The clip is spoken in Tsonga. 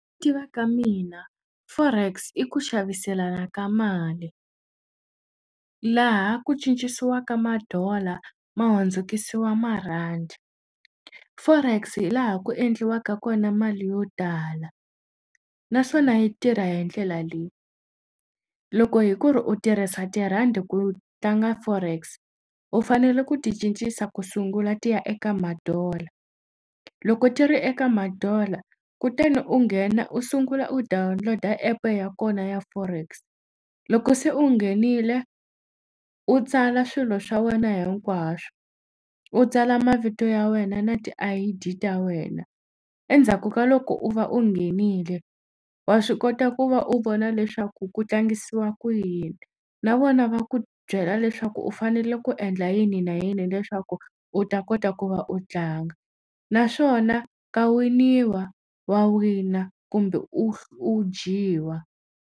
Tiva ka mina forex i ku xaviselana ka mali laha ku cinciwaka ma-dollar ma hundzukusiwa marhandi forex hi laha ku endliwaka kona mali yo tala naswona yi tirha hi ndlela leyi loko hi ku ri u tirhisa tirhandi ku tlanga forex u fanele ku ti cincisa ku sungula ti ya eka ma-dollar loko ti ri eka ma-dollar kutani u nghena u sungula u download-a app-e ya kona ya forex loko se u nghenile u tsala swilo swa wena hinkwaswo u tsala mavito ya wena na ti-I_D ta wena endzhaku ka loko u va u nghenile wa swi kota ku va u vona leswaku ku tlangisiwa ku yini na vona va ku byela leswaku u fanele ku endla yini na yini leswaku u ta kota ku va u tlanga naswona ka winiwa wa wina kumbe u u dyiwa.